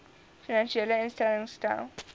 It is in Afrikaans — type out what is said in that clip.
finansiële instellings stel